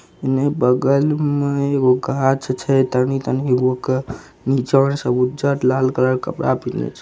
इने बगल मे एगो गाछ छैतनी तनी गो के जड़ सब उज्जर लाल कलर के कपड़ा पिहिनले छै।